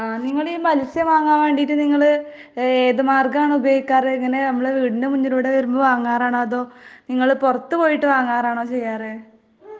മത്സ്യം വാങ്ങാൻ വേണ്ടിയിട്ടു നിങ്ങള് ഏതു മാർഗം ആണ് ഉപയോഗിക്കാറ് ?ഇങ്ങനെ നമ്മുടെ വീടിന്റെ മുന്നിലൂടെ വരുമ്പോ വാങ്ങാറ് ആണോ അതോ നിങ്ങള് പുറത്തു പോയിട്ട് വാങ്ങാറാനോ ചെയ്യാറ് ?